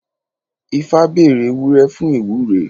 Ifá bèrè ewúré fún ìwúre.